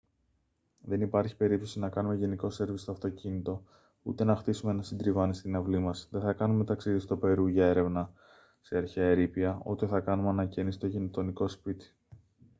δεν υπάρχει περίπτωση να κάνουμε γενικό σέρβις στο αυτοκίνητο ούτε να χτίσουμε ένα συντριβάνι στην αυλή μας δεν θα κάνουμε ταξίδι στο περού για έρευνα σε αρχαία ερείπια ούτε θα κάνουμε ανακαίνιση στο γειτονικό σπίτι